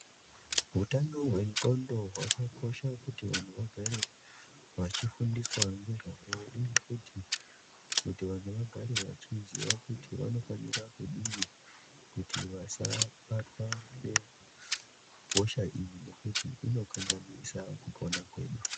Hutano hwendxondo hwakakosha kuti vanhu vagare vachifundiswa ngezvahwo uye futi vanhu vagare vachiziva kuti vanofanira kudini kuti vasabatwa ngehosha iyi nekuti inokanganisa kupona kwedu.